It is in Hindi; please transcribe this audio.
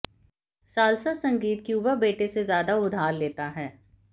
साल्सा संगीत क्यूबा बेटे से ज्यादा उधार लेता है